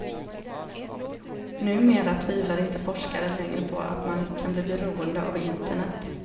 Numera tvivlar inte forskare längre på att man kan bli beroende av internet.